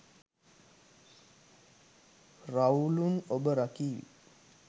රවුළුන් ඔබ රකීවි.